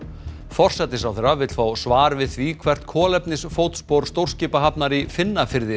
forsætisráðherra vill fá svar við því hvert kolefnisfótspor stórskipahafnar í